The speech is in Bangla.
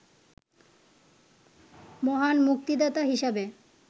মহান মুক্তিদাতা হিসাবে